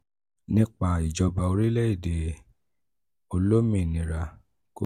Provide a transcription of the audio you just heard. nípa ìjọba orílẹ̀-èdè olómìnira congo